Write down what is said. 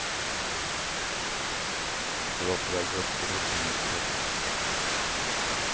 De var på väg upp till hopptornets topp.